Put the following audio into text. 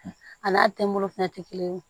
A n'a tɛmolo fɛnɛ tɛ kelen ye